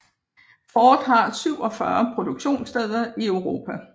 Ford har 47 produktionssteder i Europa